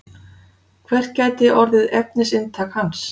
Hvert gæti orðið efnisinntak hans